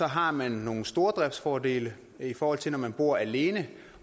har man nogle stordriftsfordele i forhold til når man bor alene